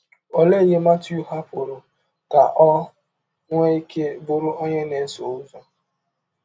Ọlee ihe Matiụ hapụrụ ka ọ nwee ike bụrụ ọnye na - esọ ụzọ?